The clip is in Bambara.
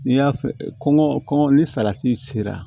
N'i y'a fɛ kɔn kɔngɔ kɔngɔ ni salati sera